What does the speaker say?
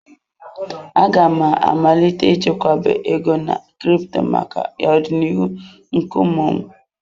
Aga m amalite chekwaba ego na crypto maka ọdịnihu nke ụmụ m.